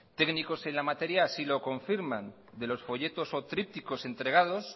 técnicos en la materia así lo confirman de los folletos o trípticos entregados